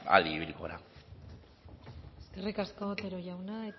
adi ibiliko gara eskerrik asko otero jauna